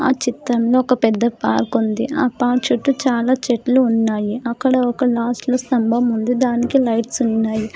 ఆ చిత్రంలో ఒక పెద్ద పార్క్ ఉంది ఆ పార్క్ చుట్టు చాలా చెట్లు ఉన్నాయి అక్కడ ఒక లాస్ట్ లో స్తంభం ముందు దానికి లైట్స్ ఉన్నాయి.